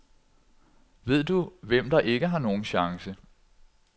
Ved du, hvem der ikke har nogen chance?